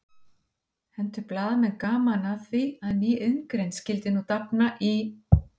Hentu blaðamenn gaman að því að ný iðngrein skyldi nú dafna í